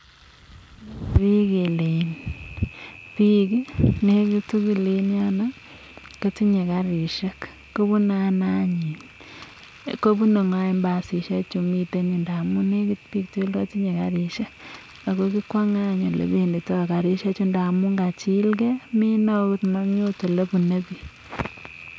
bik nekit tuguk eng yoto kotinye karishiek .ko bunee ngoo anyun basishiek chuto amu kikwangee anyun ine amu karishiek chutokachilgei mena agot olebune bik